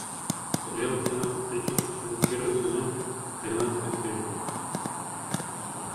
сериал тринадцать причин почему первый сезон тринадцатая серия